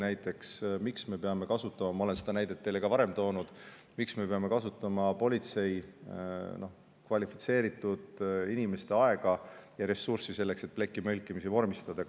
Näiteks, miks me peame kasutama – ma olen seda näidet teile varemgi toonud – politsei, kvalifitseeritud inimeste aega ja ressurssi selleks, et plekimõlkimisi vormistada?